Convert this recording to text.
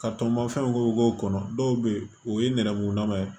Ka tɔnbɔ fɛnw k'u k'o kɔnɔ dɔw bɛ yen o ye nɛrɛmuguma ye